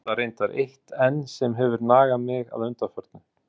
Svo er það reyndar eitt enn sem hefur nagað mig að undanförnu.